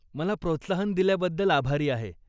मला प्रोत्साहन दिल्याबद्दल आभारी आहे.